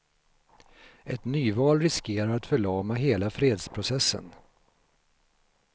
Ett nyval riskerar att förlama hela fredsprocessen.